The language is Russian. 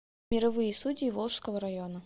мировые судьи волжского района